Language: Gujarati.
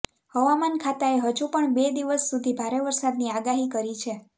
હવામાન ખાતાએ હજુ પણ બે દિવસ સુધી ભારે વરસાદની આગાહી કરી છે